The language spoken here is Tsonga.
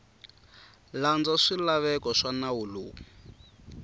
landza swilaveko swa nawu lowu